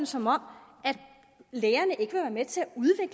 som om lægerne ikke vil være med til